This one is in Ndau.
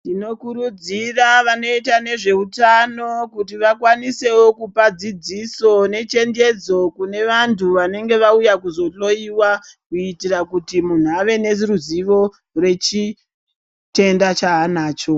Tinokurudzira vanoitawo nezveutano kuti vakwanisewo kupa dzidziso nechenjedzo kune vantu vanenge vauya kuzohloyiwa kuitira kuti muntu ave neruzivo rwechitenda chaanacho.